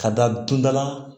Ka da dundala